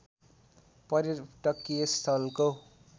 पर्यटकीय स्थलको